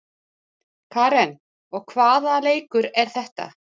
Karen: Og hvaða leikur er þetta?